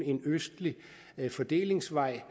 en østlig fordelingsvej